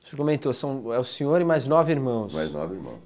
Você comentou, é o senhor e mais nove irmãos. mais nove irmãos